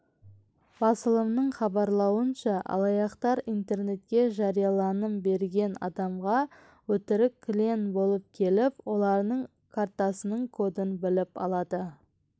басылымның хабарлауынша алаяқтар интернетке жарияланым берген адамға өтірік клиен болып келіп олардың картасының кодын біліп алады